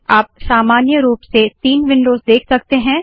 आप सामान्य रूप से तीन विन्डोज़ देख सकते है